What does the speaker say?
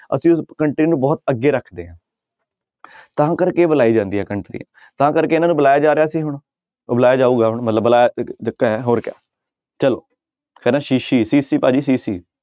ਅਸੀਂ ਉਸ country ਨੂੰ ਬਹੁਤ ਅੱਗੇ ਰੱਖਦੇ ਹਾਂ ਤਾਂ ਕਰਕੇ ਬੁਲਾਈ ਜਾਂਦੀਆਂ ਕੰਟਰੀਆਂ ਤਾਂ ਕਰਕੇ ਇਹਨਾਂ ਨੂੰ ਬੁਲਾਇਆ ਜਾ ਰਿਹਾ ਸੀ ਹੁਣ ਉਹ ਬੁਲਾਇਆ ਜਾਊਗਾ ਹੁਣ ਮਤਲਬ ਬੁਲਾਇਆ ਹੋਰ ਕਿਆ ਚਲੋ ਕਹਿੰਦਾ ਸ਼ੀਸ਼ੀ ਸ਼ੀਸ਼ੀ ਭਾਜੀ ਸ਼ੀਸ਼ੀ।